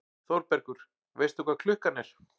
ÞÓRBERGUR: Veistu hvað klukkan er?